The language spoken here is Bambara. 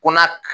Ko na